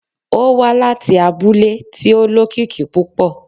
Ó wá láti abúlé tí ó lókìkí púpọ̀